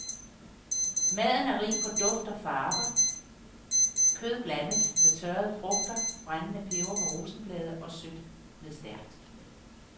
Maden er rig på dufte og farver, kød blandet med tørrede frugter, brændende peber med rosenblade og sødt med stærkt.